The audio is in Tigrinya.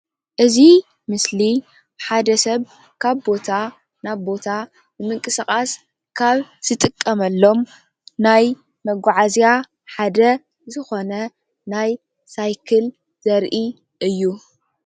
እዚ ምስሊ ሓደ ሰብ ካብ ቦታ ናብ ቦታ ንምንቅስቃስ ካብ ዝጥቀመሎም ናይ መጓዓዝያ ሓደ ዝኾነ ናይ ሳይክል ዘርኢ እዩ።